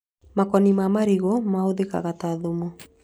Makoni ma marigũ mahũthĩkaga ta thumu